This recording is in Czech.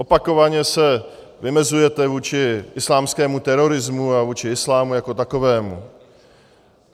Opakovaně se vymezujete vůči islámskému terorismu a vůči islámu jako takovému.